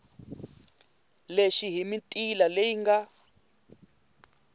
lexi hi mitila leyi nga